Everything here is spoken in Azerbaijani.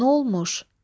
Nə olmuş?